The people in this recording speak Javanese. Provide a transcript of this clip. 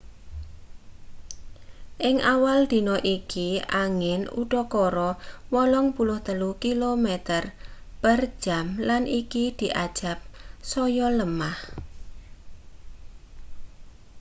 ing awal dina iki angin udakara 83 km/jam lan iki diajab saya lemah